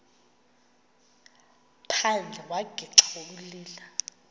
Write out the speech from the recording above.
phandle wagixa ukulila